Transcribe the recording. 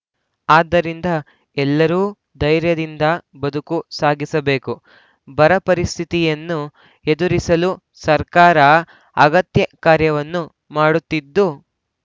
ಆದ್ದರಿಂದ ಎಲ್ಲರೂ ಧೈರ್ಯದಿಂದ ಬದುಕು ಸಾಗಿಸಬೇಕು ಬರಪರಿಸ್ಥಿತಿಯನ್ನು ಎದುರಿಸಲು ಸರ್ಕಾರ ಅಗತ್ಯ ಕಾರ್ಯವನ್ನು ಮಾಡುತ್ತಿದ್ದು